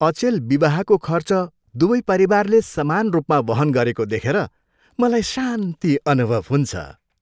अचेल विवाहको खर्च दुवै परिवारले समान रूपमा वहन गरेको देखेर मलाई शान्ति अनुभव हुन्छ।